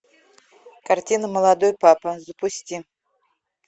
картина молодой папа запусти